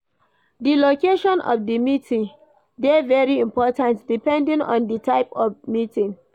Di location of di meeting dey very important depending of di type of meeting